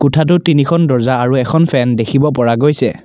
কোঠাটোত তিনিখন দৰ্জা আৰু এখন ফেন দেখিব পৰা গৈছে।